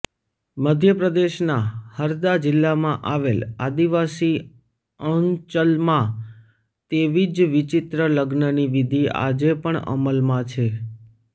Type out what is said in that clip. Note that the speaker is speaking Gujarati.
મધ્યપ્રદેશના હરદા જીલ્લામાં આવેલ આદિવાસી અંચલમાં તેવી જ વિચિત્ર લગ્નની વિધિ આજે પણ અમલમાં છે